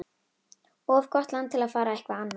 Of gott land til að fara eitthvað annað.